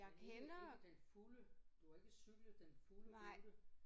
Men ikke ikke den fulde du har ikke cyklet den fulde rute?